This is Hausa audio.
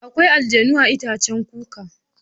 Akwai aljannu a itaccen kuka.